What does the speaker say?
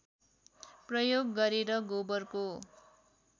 प्रयोग गरेर गोबरको